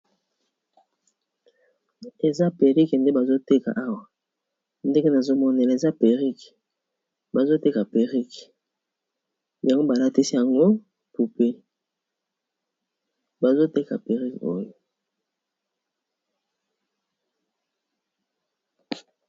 Eza perrique nde bazoteka awa ndenge nazomonela eza perrique bazoteka perrique yango balatisi yango pupe bazoteka perrique oyo.